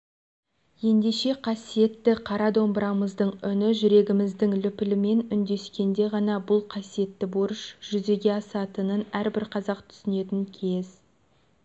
ендеше қасиетті қара домбырамыздың үні жүрегіміздің лүпілімен үндескенде ғана бұл қасиетті борыш жүзеге асатынын әрбір қазақ түсінетін кез